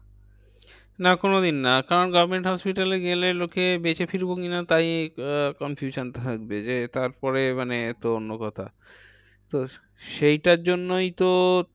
না কোনোদিন না। কারণ government hospital এ গেলে লোকে বেঁচে ফিরবো কি না? তাই আহ confusion থাকবে যে, তারপরে মানে তো অন্য কথা। তো সেইটার জন্যই তো